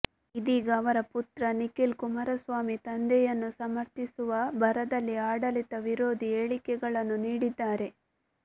ಇದೀಗ ಅವರ ಪುತ್ರ ನಿಖಿಲ್ ಕುಮಾರಸ್ವಾಮಿ ತಂದೆಯನ್ನು ಸಮರ್ಥಿಸುವ ಭರದಲ್ಲಿ ಆಡಳಿತ ವಿರೋಧಿ ಹೇಳಿಕೆಗಳನ್ನು ನೀಡಿದ್ದಾರೆ